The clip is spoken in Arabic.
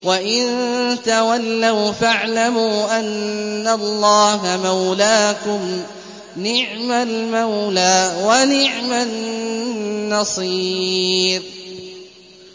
وَإِن تَوَلَّوْا فَاعْلَمُوا أَنَّ اللَّهَ مَوْلَاكُمْ ۚ نِعْمَ الْمَوْلَىٰ وَنِعْمَ النَّصِيرُ